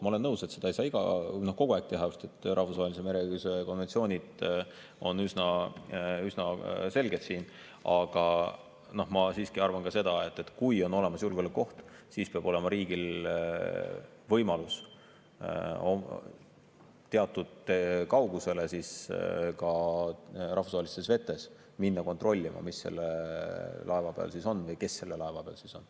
Ma olen nõus, et seda ei saa kogu aeg teha, sest rahvusvahelise mereõiguse konventsioonid on siin üsna selged, aga ma siiski arvan seda, et kui on olemas julgeolekuoht, siis peab olema riigil võimalus teatud kaugusele ka rahvusvahelistes vetes minna kontrollima, mis selle laeva peal on või kes selle laeva peal on.